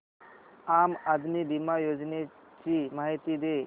आम आदमी बिमा योजने ची माहिती दे